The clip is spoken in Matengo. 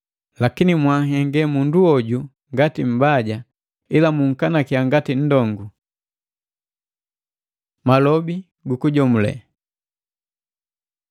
Lakini mwanhenge mundu hoju ngati mmbaja, ila munkanakya ngati nndongu. Malobi gu kujomulela